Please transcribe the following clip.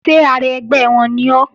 Ṣé ara ẹgbẹ́ wọn ni ọ́?